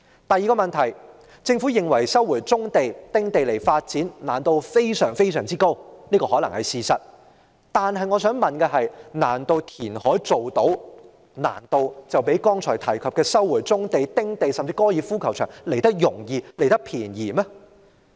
第二個問題，政府認為收回棕地、丁地發展，難度非常之高，這可能是事實，但我想問的是，難道填海較剛才提及的收回棕地、丁地，甚至高爾夫球場來得容易、來得便宜嗎？